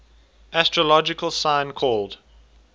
astrological sign called